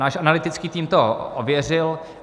Náš analytický tým to ověřil.